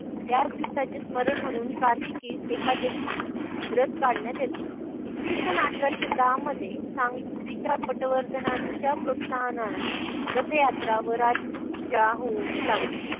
याच दिवसाचे स्मरण म्हणून कार्तिकीस एकादशीस रथ काढण्यात येतो. इसवी सन अकराशे दहामध्ये सांगलीचा पटवर्धनांच्या प्रोत्साहनाने रथयात्रा व राजपूत जाऊन लागले